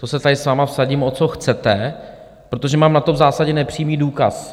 To se tady s vámi vsadím, o co chcete, protože mám na to v zásadě nepřímý důkaz.